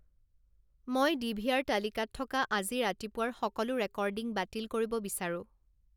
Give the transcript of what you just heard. মই ডি.ভি.আৰ. তালিকাত থকা আজি ৰাতিপুৱাৰ সকলো ৰেকৰ্ডিং বাতিল কৰিব বিচাৰো